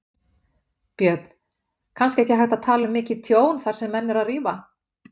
Björn: Kannski ekki hægt að tala um mikið tjón þar sem menn eru að rífa?